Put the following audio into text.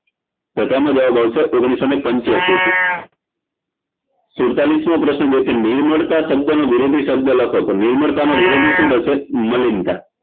તો તેનો જવાબ આવશે ઓગણીસોને પંચયાશીથી સુળતાળીસમો પ્રશ્ન નિર્માળતા શબ્દનો વિરોધી શબ્દ લખો તો નિર્મળતાનો વિરોધી શું થશે મલિનતાં